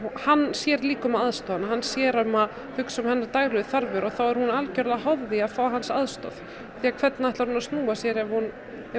hann sér líka um að aðstoða hana hann sér um að hugsa um hennar daglegu þarfir og þá er hún algjörlega háð því að fá hans aðstoð því hvernig ætlar hún að snúa sér ef hún